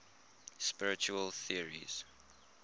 spiritual theories